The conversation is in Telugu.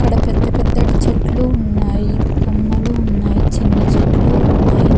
పెద్ద పెద్ద చెట్లు ఉన్నాయి కొమ్మలు ఉన్నాయి చిన్న చెట్లు ఉన్నాయి.